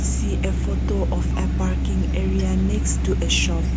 we can see a photo of parking area next to a shop.